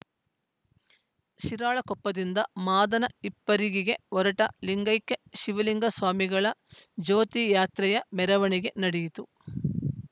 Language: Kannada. ಶಿರಾಳಕೊಪ್ಪದಿಂದ ಮಾದನ ಹಿಪ್ಪರಿಗಿಗೆ ಹೊರಟ ಲಿಂಗಕ್ಯ ಶಿವಲಿಂಗ ಸ್ವಾಮಿಗಳ ಜ್ಯೋತಿ ಯಾತ್ರೆಯ ಮೆರವಣಿಗೆ ನಡೆಯಿತು